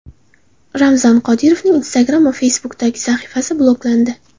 Ramzan Qodirovning Instagram va Facebook’dagi sahifasi bloklandi.